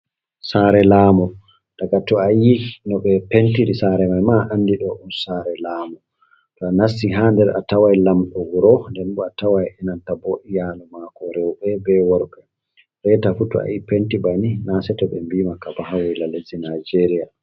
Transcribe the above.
Sare laamu daga to ayi no ɓe pentiri sare maima a andi ɗo ɗun sare laamu, to a nasti ha nder a tawai lamɗo wuro den bo a tawai enanta bo iyalu mako rewɓe be worɓɓe reta fu to a yi penti banin na se to ɓe mɓiimaka ba ha waila leddi Nigeria.